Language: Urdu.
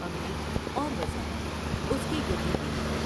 امیر اور وزیر اس کے گردو پیش تھے ۔